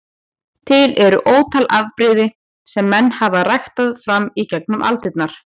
Til eru ótal afbrigði sem menn hafa ræktað fram í gegnum aldirnar.